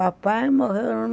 Papai morreu